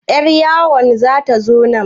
Yar yawon zata zo nan?